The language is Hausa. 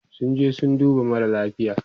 sun je sun dubo mara lafia